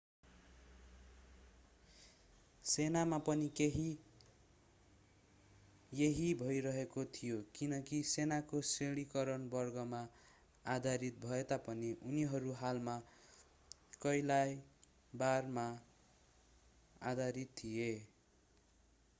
सेनामा पनि यही भइरहेको थियो किनकि सेनाको श्रेणीकरण वर्गमा आधारित भएतापनि उनीहरू हालमा कइलाबरमा आधारितथिए